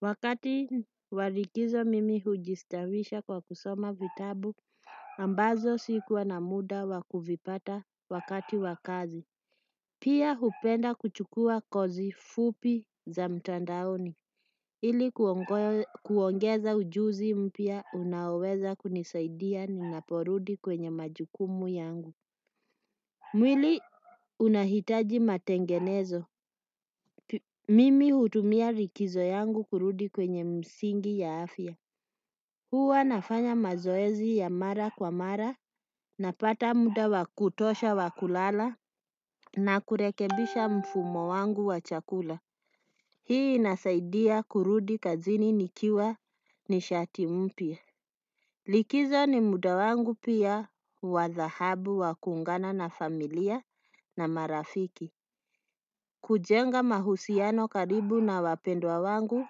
Wakati wa likizo mimi hujistawisha kwa kusoma vitabu, ambazo sikuwa na muda wa kuvipata wakati wa kazi. Pia hupenda kuchukua kozi fupi za mtandaoni. Ili kuongeza ujuzi mpya unaoweza kunisaidia ninaporudi kwenye majukumu yangu. Mwili unahitaji matengenezo. Mimi hutumia likizo yangu kurudi kwenye msingi ya afya. Huwa nafanya mazoezi ya mara kwa mara napata muda wa kutosha wa kulala na kurekebisha mfumo wangu wa chakula. Hii inasaidia kurudi kazini nikiwa nishati mpya. Likizo ni muda wangu pia wa dhahabu wa kuungana na familia na marafiki. Kujenga mahusiano karibu na wapendwa wangu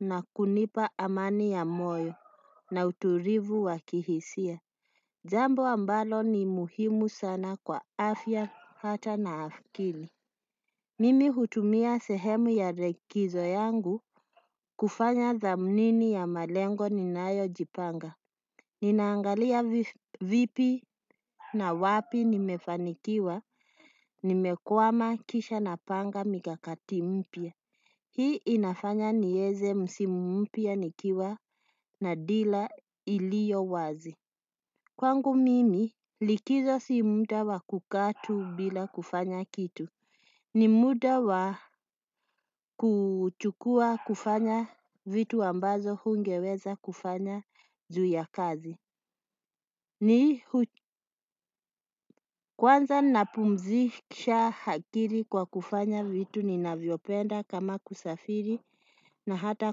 na kunipa amani ya moyo na utulivu wa kihisia. Zambo ambalo ni muhimu sana kwa afya hata na afkili. Mimi hutumia sehemu ya likizo yangu kufanya dhamnini ya malengo ninayo jipanga. Ninaangalia vipi na wapi nimefanikiwa, nimekwama kisha napanga mikakati mpya. Hii inafanya nieze msimu mpya nikiwa na dila iliyo wazi. Kwangu mimi likizo si muda wa kukaa tu bila kufanya kitu. Ni muda wa kuchukua kufanya vitu ambazo hungeweza kufanya juu ya kazi. Ni kwanza napumzisha akili kwa kufanya vitu ninavyopenda kama kusafiri na hata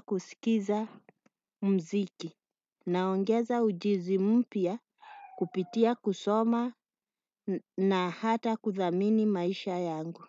kusikiza mziki. Naongeza ujuzi mpya kupitia kusoma na hata kuthamini maisha yangu.